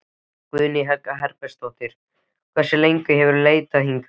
Guðný Helga Herbertsdóttir: Hversu lengi hefurðu leitað hingað?